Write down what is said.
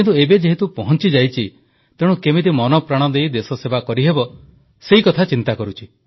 କିନ୍ତୁ ଏବେ ଯେହେତୁ ପହଂଚିଯାଇଛି ତେଣୁ କେମିତି ମନପ୍ରାଣ ଦେଇ ଦେଶସେବା କରିହେବ ସେକଥା ଚିନ୍ତା କରୁଛି